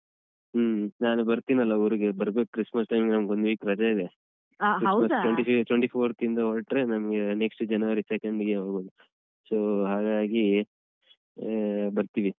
ಹ್ಮ ನಾನು ಬರ್ತೀನಲ್ಲ ಊರಿಗೆ ಬರ್ಬೇಕ್ Christmas time ಗೆ ನಮ್ಗ್ ಒಂದು week ರಜೆ ಇದೆ twenty fourth ಹೊರಟ್ರೆ ನಮ್ಗೆ next ಜನವರಿ second ಗೆ ಹೋಗುದು so , ಹಾಗಾಗಿ ಹಾ ಬರ್ತೀವಿ.